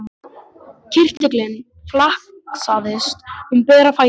Kirtillinn flaksaðist um bera fætur hans.